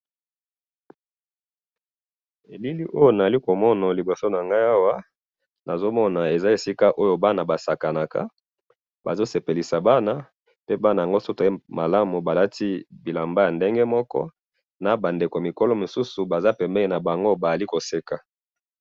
Na moni ba nzete mingi na ba langi ya mai ya pondu.